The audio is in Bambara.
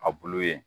A bulu ye